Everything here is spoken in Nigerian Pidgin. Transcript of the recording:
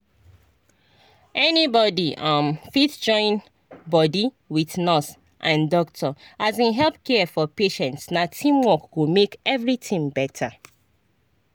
anybody um fit join body wit nurse and doctor um help care for patients na teamwork go make everything better.